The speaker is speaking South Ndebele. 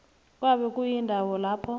kwabe kuyindawo lapha